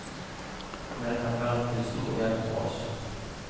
Og den kan være til stor hjelp for oss.